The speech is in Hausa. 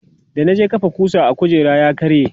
da na je kafa kusa a kujera ya karye